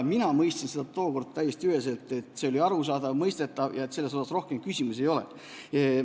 Mina mõistsin seda tookord täiesti üheselt, see oli arusaadav, mõistetav ja selle kohta ei tohiks rohkem küsimusi olla.